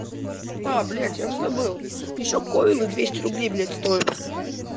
па блядь я забыл ещё койлы двести рублей блядь стоит